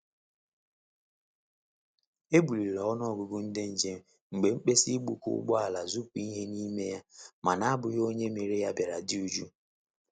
E buliri ọnụ ọgụgụ ndị nche mgbe mkpesa igbuka ụgbọ ala zupu ihe n'ime ya ma n'ahughi onye mere ya biara dị jụụ.